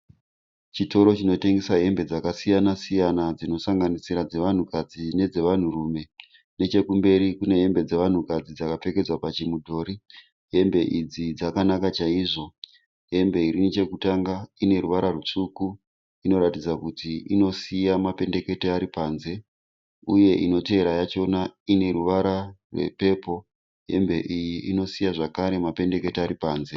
Chitoro chinotengesa hembe dzakasiyana-siyana dzinosanganisira dzevanhukadzi nedzevanhurume. Nechekumberi kune hembe dzevanhukadzi dzakapfekedzwa pachimudhori. Hembe idzi dzakanaka chaizvo. Hembe iri nechekutanga ine ruvara rutsvuku, inoratidza kuti inosiya mapendekete ari panze uye inotevera yachona ine ruvara rwepepuru, hembe iyi inosiya zvakare mapendekete ari panze.